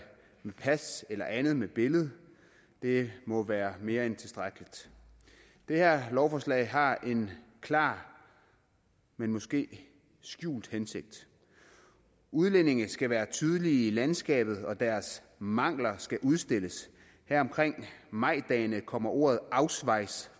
med pas eller andet med billede det må være mere end tilstrækkeligt det her lovforslag har en klar men måske skjult hensigt udlændinge skal være tydelige i landskabet og deres mangler skal udstilles her omkring majdagene kommer ordet ausweis